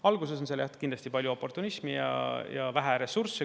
Alguses on kindlasti palju oportunismi ja vähe ressursse.